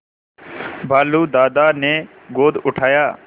भालू दादा ने गोद उठाया